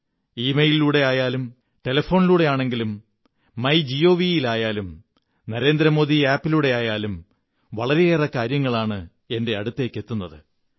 ഇമെയിലിലൂടെയായാലും ടെലിഫോണിലൂടെയാണെങ്കിലും my Gavi ൽ ആയാലും Narendra Modi app ലൂടെയാലായാലും വളരെയേറെ കാര്യങ്ങളാണ് എന്റെ അടുത്തെത്തുന്നത്